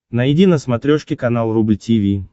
найди на смотрешке канал рубль ти ви